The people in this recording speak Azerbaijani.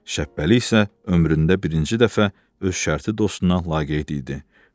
Şəhbəli isə ömründə birinci dəfə öz şərti dostuna laqeyd idi.